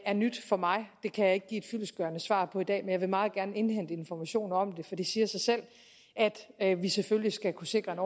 er nyt for mig det kan jeg ikke give et fyldestgørende svar på i dag men jeg vil meget gerne indhente informationer om det for det siger sig selv at vi selvfølgelig skal kunne sikre en